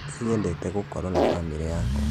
Nĩnyedete gũkoro na bamĩrĩ yakwa